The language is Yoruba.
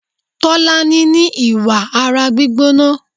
Tolani ní ìwà ara gbígbóná.